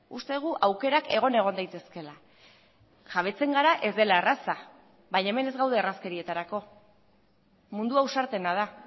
uste dugu aukerak egon egon daitezkeela jabetzen gara ez dela erraza baina hemen ez gaude errazkerietarako mundua ausartena da